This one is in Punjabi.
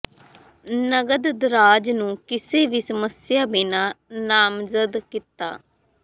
ਨਕਦ ਦਰਾਜ਼ ਨੂੰ ਕਿਸੇ ਵੀ ਸਮੱਸਿਆ ਬਿਨਾ ਨਾਮਜ਼ਦ ਕੀਤਾ